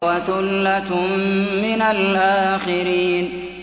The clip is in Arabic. وَثُلَّةٌ مِّنَ الْآخِرِينَ